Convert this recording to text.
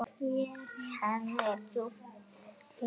Hemmi er djúpt hugsi.